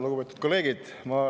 Lugupeetud kolleegid!